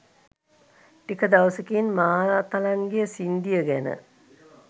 ටික දවසකින් මාතලන්ගේ සින්ඩිය ගැන